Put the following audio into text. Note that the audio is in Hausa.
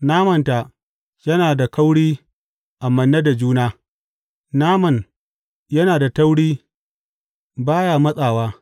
Namanta yana da kauri a manne da juna; naman yana da tauri ba ya matsawa.